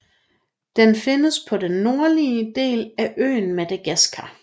Den findes på den nordlige del af øen Madagaskar